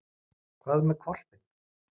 En hvað með hvolpinn?